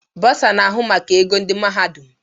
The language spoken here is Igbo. Bọsa na-ahụ maka ego ndị mahadum.